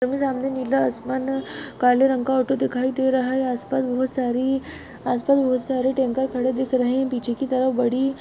सामने नीला आसमान काले रंग का ऑटो दिखाई दे रहा है आसपास बहुत सारी आसपास बहुत सारे टैंकर खड़े दिख रहे है पीछे की तरफ बड़ी --